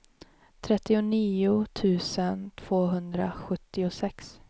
trettionio tusen tvåhundrasjuttiosex